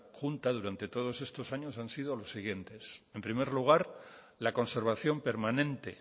junta durante todos estos años han sido los siguientes en primer lugar la conservación permanente